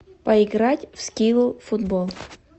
поиграть в скилл футбол